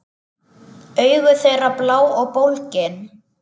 Augu þeirra blá og bólgin.